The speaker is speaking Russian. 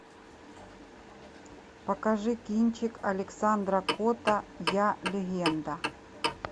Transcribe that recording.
покажи кинчик александра котта я легенда